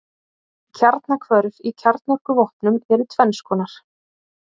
Kjarnahvörf í kjarnorkuvopnum eru tvenns konar.